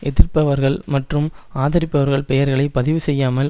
எதிர்ப்பவர்கள் மற்றும் ஆதரிப்பவர்கள் பெயர்களை பதிவு செய்யாமல்